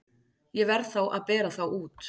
Ég verð þá að bera þá út.